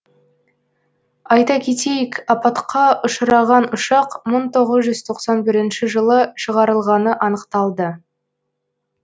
айта кетейік апатқа ұшыраған ұшақ мың тоғыз жүз тоқсан бірінші жылы шығарылғаны анықталды